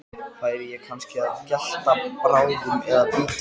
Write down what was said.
Þetta var offíseri, það leyndi sér ekki, greinilega háttsettur.